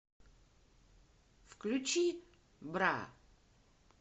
включи бра